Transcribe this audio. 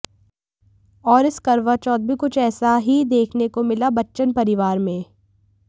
और इस करवाचौथ भी कुछ ऐसा ही देखने को मिला बच्चन परिवार में